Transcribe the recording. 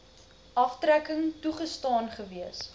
aftrekking toegestaan gewees